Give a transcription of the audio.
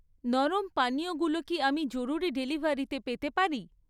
নরম পানীয়গুলো কি আমি জরুরি ডেলিভারিতে পেতে পারি?